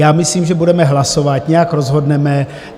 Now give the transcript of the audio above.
Já myslím, že budeme hlasovat, nějak rozhodneme.